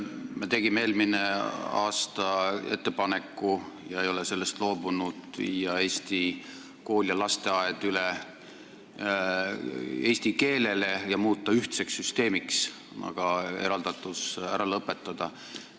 Me tegime eelmisel aasta ettepaneku – ega ole sellest loobunud – viia Eesti kool ja lasteaed üle eesti keelele ja muuta ühtseks süsteemiks, eraldatus ära lõpetada.